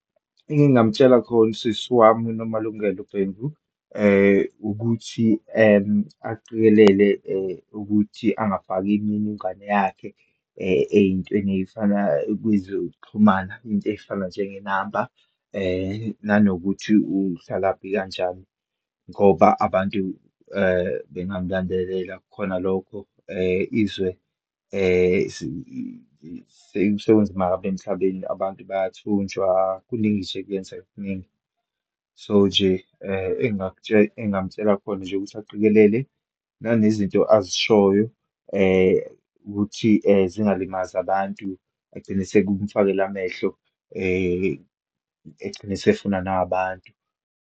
Engingamtshela khona usisi wami uNomalungelo Bhengu, ukuthi aqikelele ukuthi angafaki imininingwane yakhe, eyintweni eyifana kwezokuxhumana, into eyifana njengenamba, nanokuthi uhlalaphi kanjani, ngoba abantu bengamlandelela khona lokho. Izwe sekunzima kabi emhlabeni, abantu bayathunjwa, kuningi nje kuyenza kuningi. So, nje engingamtshela khona nje ukuthi aqikelele, nanezinto azishoyo ukuthi zingalimazi abantu, agcine sekumfakela amehlo egcine esefunwa nahabantu.